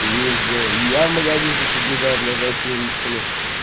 и ездила и я в магазин тут побежал бля за семечками